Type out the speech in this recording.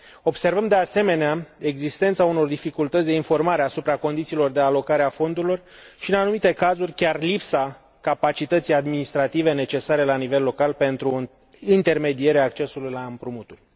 Observăm, de asemenea, existența unor dificultăți de informare asupra condițiilor de alocare a fondurilor și, în anumite cazuri, chiar lipsa capacității administrative necesare la nivel local pentru intermedierea accesului la împrumuturi.